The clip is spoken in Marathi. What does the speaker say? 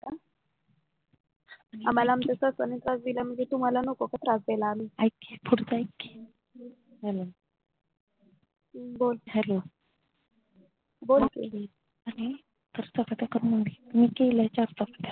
आम्हाला आमच्या सासून त्रास दिला म्हणजे तुम्हाला नको का त्रास देयला आम्ही ऐक की पुढचं ऐक की hello बोल hello बोल की